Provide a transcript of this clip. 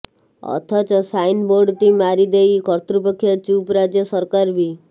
ଅଥଚ ସାଇନ୍ ବୋର୍ଡଟିଏ ମାରିେଦଇ କର୍ତୃପକ୍ଷ ଚୁପ୍ ରାଜ୍ୟ ସରକାର ବି